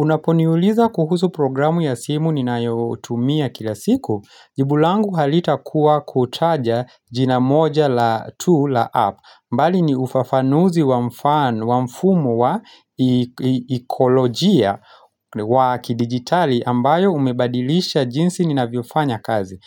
Unaponiuliza kuhusu programu ya simu ninayotumia kila siku, jibu langu halitakuwa kutaja jina moja la tu la app, mbali ni ufafanuzi wa mfano wa mfumu wa ekolojia wa kidijitali ambayo umebadilisha jinsi ninavyofanya kazi.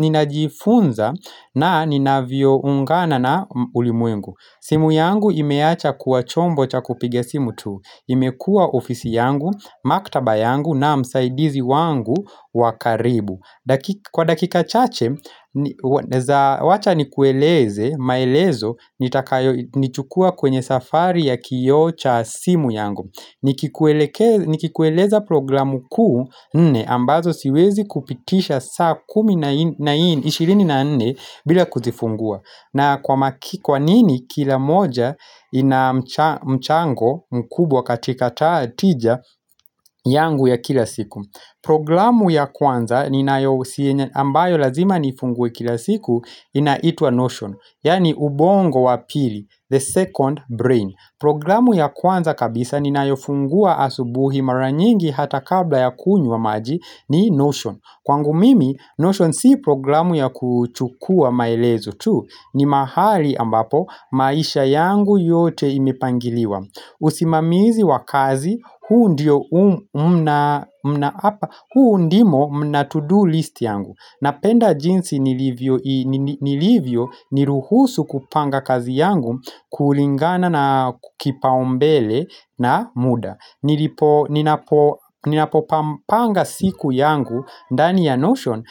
Ninajifunza na ninavyoungana na ulimwengu simu yangu imeacha kuwa chombo cha kupiga simu tu imekua ofisi yangu, maktaba yangu na msaidizi wangu wa karibu Kwa dakika chache, wacha nikueleze, maelezo, nitakayo nichukua kwenye safari ya kioo cha simu yangu nikikueleke Nikikueleza programu kuu nne ambazo siwezi kupitisha saa kumi na nne ishirini na nne bila kuzifungua na kwa maki kwanini kila moja ina mcha mchango mkubwa katika ta tija yangu ya kila siku Programu ya kwanza ninayo ambayo lazima niifunguwe kila siku inaitwa notion Yani ubongo wa pili, the second brain Programu ya kwanza kabisa ninayofungua asubuhi mara nyingi hata kabla ya kunywa maji ni Notion. Kwangu mimi Notion si programu ya kuchukua maelezo tu ni mahali ambapo maisha yangu yote imepangiliwa. Usimamizi wa kazi, huu ndio ndimo mna to-do list yangu Napenda jinsi nilivyo ni ruhusu kupanga kazi yangu kulingana na kipaombele na muda Ninapopanga siku yangu, ndani ya notion,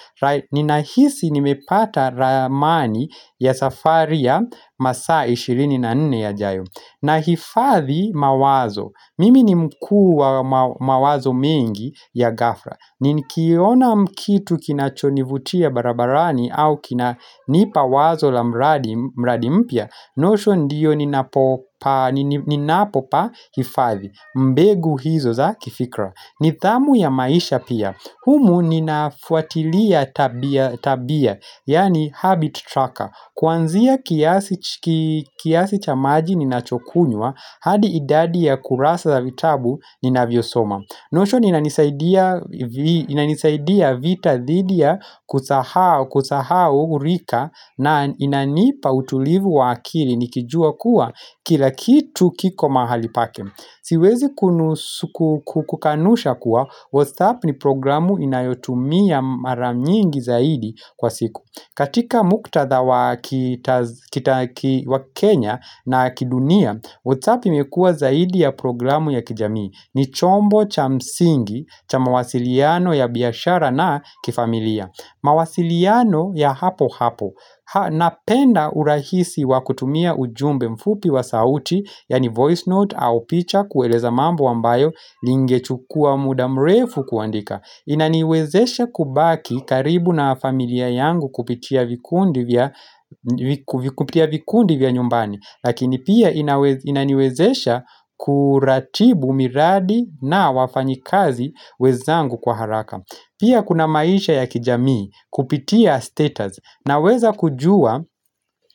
ninahisi nimepata ramani ya safari ya masa ishirini na nne yajayo na hifadhi mawazo, mimi ni mkuu wa mawazo mengi ya gafra, nikiona mkitu kinachonivutia barabarani au kinanipa wazo la mradi mradi mpya, notion ndiyo ninapo ninapopahifadhi, mbegu hizo za kifikra. Nidhamu ya maisha pia. Humu ninafuatilia tabia tabia, yaani habit tracker. Kwanzia kiasi kiasi cha maji ninachokunywa, hadi idadi ya kurasa za vitabu ninavyosoma. Notion inanisaidia inanisaidia vita dhidi ya kusahao kusahao urika na inanipa utulivu wa akiri nikijua kuwa kila kitu kiko mahali pake. Siwezi kukukanusha kuwa, WhatsApp ni programu inayotumia mara mingi zaidi kwa siku. Katika muktadha ki wa Kenya na kidunia, WhatsApp imekua zaidi ya programu ya kijamii. Ni chombo cha msingi, cha mawasiliano ya biashara na kifamilia. Mawasiliano ya hapo hapo. Napenda urahisi wa kutumia ujumbe mfupi wa sauti Yaani voice note au picha kueleza mambo ambayo Lingechukua mudamrefu kuandika Inaniwezesha kubaki karibu na familia yangu kupitia vikundi vya vikundi vya nyumbani Lakini pia inaniwezesha kuratibu miradi na wafanyikazi wezangu kwa haraka Pia kuna maisha ya kijamii kupitia status Naweza kujua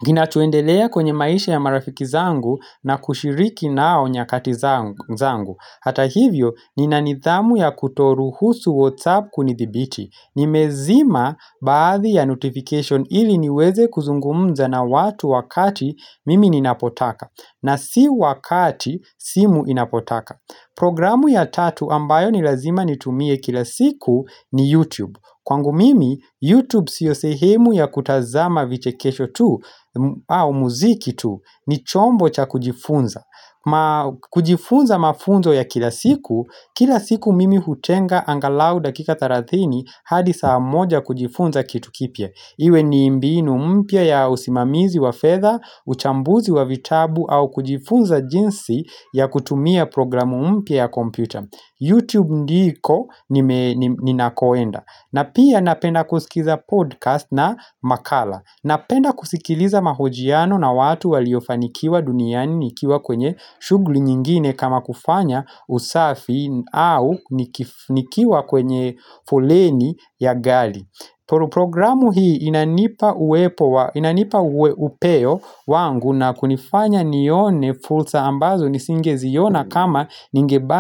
kinachoendelea kwenye maisha ya marafiki zangu na kushiriki nao nyakati zangu. Hata hivyo ninanidhamu ya kutoruhusu whatsapp kunidhibiti. Nimezima baadhi ya notification ili niweze kuzungumza na watu wakati mimi ninapotaka. Na si wakati simu inapotaka. Programu ya tatu ambayo ni lazima nitumie kila siku ni YouTube. Kwangu mimi, YouTube sio sehemu ya kutazama vichekesho tu, au muziki tu, ni chombo cha kujifunza kujifunza mafunzo ya kila siku, kila siku mimi hutenga angalau dakika thelathini hadi saa moja kujifunza kitu kipya Iwe ni mbinu mpya ya usimamizi wa fedha, uchambuzi wa vitabu au kujifunza jinsi ya kutumia programu mpya ya computer Youtube ndiko ninakoenda na pia napenda kusikiza podcast na makala Napenda kusikiliza mahojiano na watu waliofanikiwa duniani Nikiwa kwenye shughli nyingine kama kufanya usafi au nikiwa kwenye fuleni ya gali Programu hii inanipa uwepo wa inanipa upeo wangu na kunifanya nione fulsa ambazo nisingeziona kama ningeba.